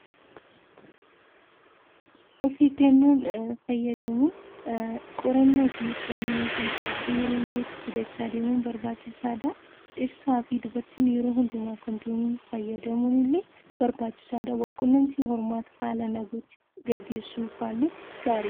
Of eeggannoon fayyadamuun qorannoo fi to'annoo yookiin qoricha yeroo yerootti fudhachaa deemuun barbaachisaadha. Ittisaa fi dubartiin yeroo hundumaa kondomii fayyadamuun illee barbaachisaadha. Wal qunnamtii hormaata saalaa gaggeessuufaallee gaariidha.